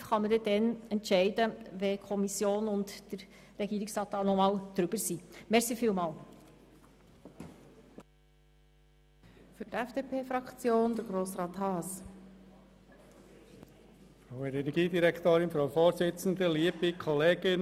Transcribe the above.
Definitiv kann man dann entscheiden, wenn die Kommission und der Regierungsrat das Geschäft noch einmal beraten haben.